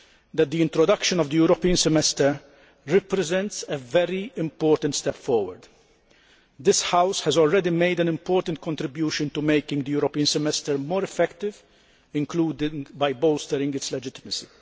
that the introduction of the European Semester represents a very important step forward. This House has already made an important contribution to making the European Semester more effective, including by bolstering its legitimacy.